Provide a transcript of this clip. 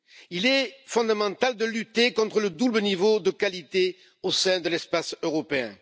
Il est fondamental de lutter contre le double niveau de qualité au sein de l'espace européen.